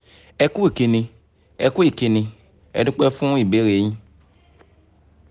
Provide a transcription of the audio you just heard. e ku ikini e ku ikini e dupe fun ibeere yin